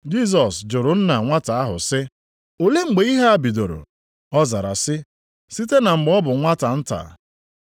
Jisọs jụrụ nna nwata ahụ sị, “Olee mgbe ihe a bidoro?” Ọ zara sị, “Site na mgbe ọ bụ nwata nta.